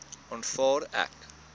aanvaar ek